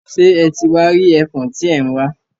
Ṣe e ti wá rí ẹfọ̀n tí ẹ̀ ń wá?